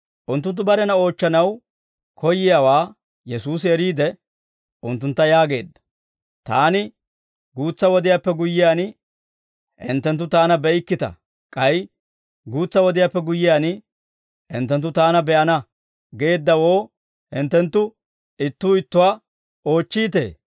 Unttunttu barena oochchanaw koyyiyaawaa Yesuusi eriide, unttuntta yaageedda; «Taani, ‹Guutsa wodiyaappe guyyiyaan, hinttenttu Taana be'ikkita; k'ay guutsa wodiyaappe guyyiyaan, hinttenttu Taana be'ana› geeddawoo hinttenttu ittuu ittuwaa oochchiitee?